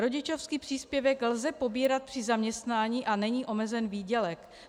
Rodičovský příspěvek lze pobírat při zaměstnání a není omezen výdělek.